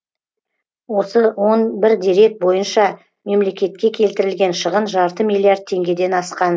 осы он бір дерек бойынша мемлекетке келтірілген шығын жарты миллиард теңгеден асқан